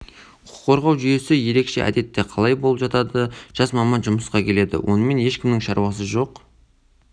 құқық қорғау жүйесі ерекше әдетте қалай болып жатады жас маман жұмысқа келеді онымен ешкімнің шаруасы жоқ